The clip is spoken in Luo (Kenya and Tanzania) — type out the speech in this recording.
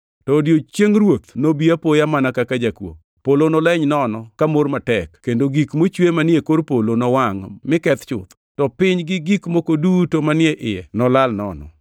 To odiechieng Ruoth nobi apoya mana kaka jakuo. Polo noleny nono ka mor matek kendo gik mochwe manie kor polo nowangʼ mi keth chuth, to piny gi gik moko duto manie iye nolal nono.